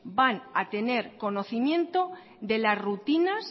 van a tener conocimiento de la rutinas